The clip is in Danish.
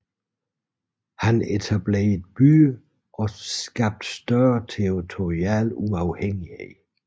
Han etablerede byer og skabte større territorial uafhængighed